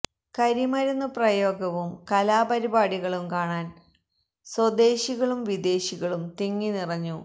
കരി മരുന്നു പ്രയോഗ വും കലാ പരി പാടി കളും കാണാൻ സ്വദേശി കളും വിദേശി കളും തിങ്ങി നിറഞ്ഞു